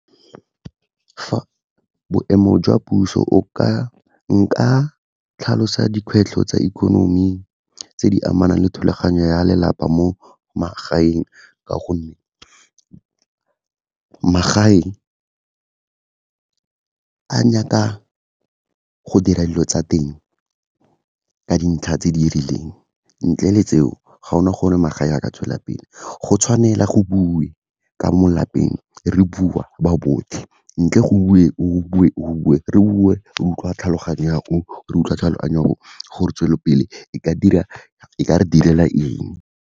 Boemo jwa puso, nka tlhalosa dikgwetlho tsa ikonomi tse di amanang le thulaganyo ya lelapa mo magaeng, ka gonne magae a nyaka go dira dilo tsa teng ka dintlha tse di rileng, ntle le tseo ga gona gore magae a ka tswelelapele. Go tshwanela go bue ka mo lapeng, re bua ba botlhe, ntle go bue o, go bue o, go bue o, re bue, re utlwa tlhaloganyo ya o, re utlwa tlhaloganyo ya o, gore tswelelopele e ka re direla eng.